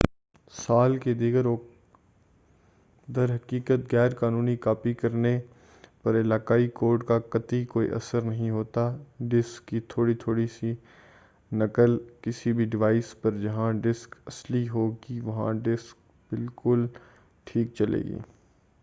در حقیقت غیر قانونی کاپی کرنے پر علاقائی کوڈ کا قطعی کوئی اثر نہیں ہوتا ہے ڈسک کی تھوڑی تھوڑی سی نقل کسی بھی ڈیوائس پر جہاں ڈسک اصلی ہوگی وہی ڈسک بالکل ٹھیک چلے گی